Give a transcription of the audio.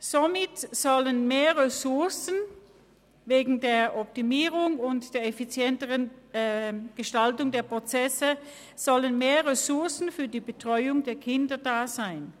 Somit sollen wegen der Optimierung und der effizienteren Gestaltung der Prozesse mehr Ressourcen für die Betreuung der Kinder vorhanden sein.